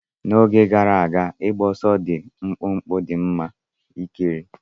N'oge gara aga, ịgba ọsọ dị mkpụmkpụ dị mma ikiri.